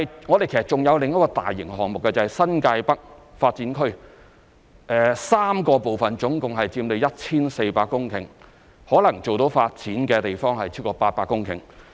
我們還有另一個大型項目，就是新界北發展 ，3 個部分總共佔地約 1,400 公頃，可能做到發展的地方超過800公頃。